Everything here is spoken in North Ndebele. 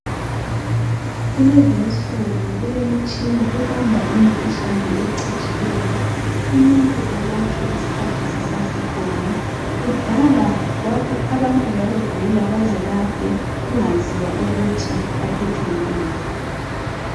Kulezinsuku kulemitshina ebamba imikhuhlane ecatshileyo, umuntu enelise ukulatshwa isikhathi sisasekhona. Kudala abantu babegula baze bafe kungaziwa ukuthi baphethwe yini.